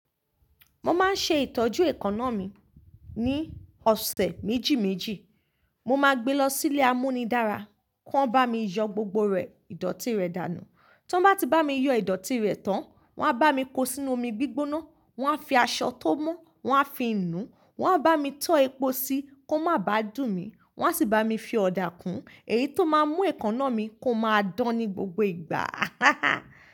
Mo máa ń ṣe ìtọ́jú èékánná mi ní ọ̀sẹ̀ méjì méjì. Mo máa gbe lọ sí ilé amúnidára, kí wọ́n bá mi yọ gbogbo rẹ̀, ìdọ̀tí rẹ̀ dànù. Tí wọ́n bá ti bá mi yọ ìdọ̀tí rẹ̀ tán, wọ́n á bá mi ko sínú omi gbígbóná, wọ́n á fi aṣọ tó mọ́, wọ́n á fi inú, wọ́n á bá mi tọ́ epo sí i kó má bàá dùn mí. Wọn á sì bá mi fi ọ̀dà kún. Èyí tó máa ń mú èékánná mi kó máa dán ní gbogbo ìgbà.